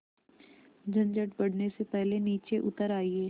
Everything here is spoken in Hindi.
झंझट बढ़ने से पहले नीचे उतर आइए